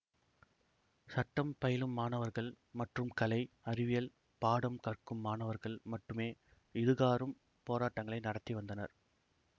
சட்டம் பயிலும் மாணவர்கள் மற்றும் கலை அறிவியல் பாடம் கற்கும் மாணவர்கள் மட்டுமே இதுகாறும் போராட்டங்களை நடத்தி வந்தனர்